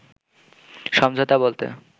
“সমঝোতা বলতে